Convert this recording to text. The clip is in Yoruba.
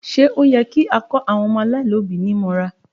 Ṣé ó yẹ kí a kó àwọn ọmọ aláìlóbí mọ́ra?